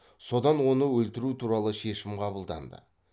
содан оны өлтіру туралы шешім қабылданды